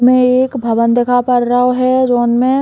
इमे एक भवन दिखा पर रओ है जोन में --